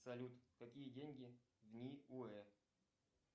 салют какие деньги в ниуэ